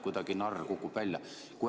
Kuidagi narrilt kukub välja.